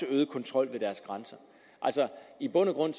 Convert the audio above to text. øget kontrol ved deres grænser i bund og grund